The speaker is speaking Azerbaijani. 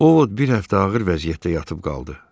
Ovvod bir həftə ağır vəziyyətdə yatıb qaldı.